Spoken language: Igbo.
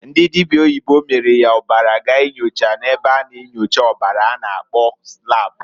Ndị dịbịa oyibo miiri ya ọbara gaa inyocha na-ebe a na-enyocha ọbara a na- akpọ lab.